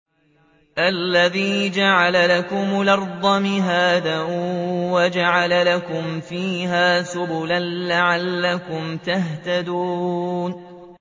الَّذِي جَعَلَ لَكُمُ الْأَرْضَ مَهْدًا وَجَعَلَ لَكُمْ فِيهَا سُبُلًا لَّعَلَّكُمْ تَهْتَدُونَ